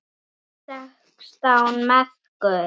Sextán merkur!